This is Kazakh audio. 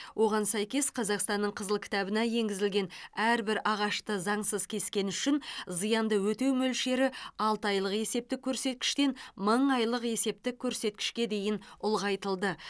оған сәйкес қазақстанның қызыл кітабына енгізілген әрбір ағашты заңсыз кескені үшін зиянды өтеу мөлшері алты айлық есептік көрсеткіштен мың айлық есептік көрсеткішке дейін ұлғайтылды